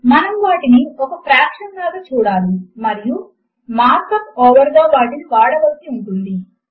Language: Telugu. మనము వాటిని ఒక ఫ్రాక్షన్ లాగా చూడాలి మరియు మార్క్ అప్ ఓవర్ గా వాటిని వాడవలసి ఉంటుంది